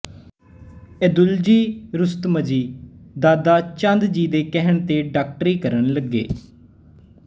ਏਦੁਲਜੀ ਰੁਸਤਮਜੀ ਦਾਦਾਚੰਦਜੀ ਦੇ ਕਹਿਣ ਤੇ ਡਾਕਟਰੀ ਕਰਨ ਲੱਗੇ